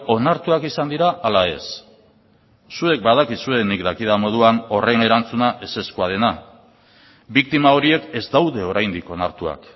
onartuak izan dira ala ez zuek badakizue nik dakidan moduan horren erantzuna ezezkoa dena biktima horiek ez daude oraindik onartuak